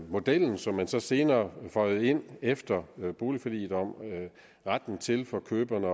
model som man så senere føjede ind efter boligforliget om retten til for køberne